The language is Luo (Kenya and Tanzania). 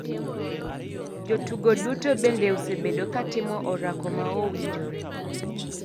jotugo duto bende osebedo katimo orako ma owinjore.